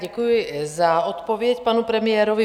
Děkuji za odpověď panu premiérovi.